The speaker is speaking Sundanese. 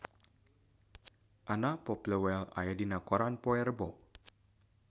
Anna Popplewell aya dina koran poe Rebo